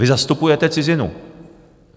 Vy zastupujete cizinu.